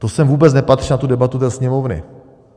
To sem vůbec nepatří, na tu debatu do Sněmovny.